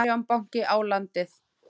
Arion banki á landið.